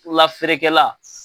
Bolola feerekɛla.